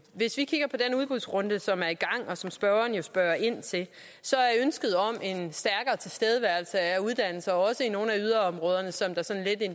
hvis vi kigger på den udbudsrunde som er i gang og som spørgeren jo spørger ind til så er ønsket om en stærkere tilstedeværelse af uddannelse også i nogle af yderområderne som der